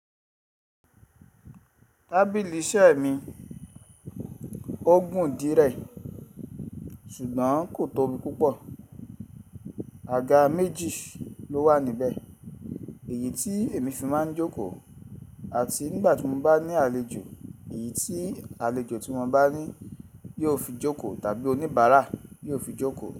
Tábìlì iṣẹ́ mi ó gùn dí rẹ̀ ṣùgbọ́n kò tóbi púpọ̀. Àga méjì ló wà níbẹ̀, èyí tí èmi fi máa ń jókòó àti nígbà tí mo bá ní àlejò, èyí tí àlejò tí mo bá ní yóò fi jókòó tàbí oníbàárà yóò fi jókòó.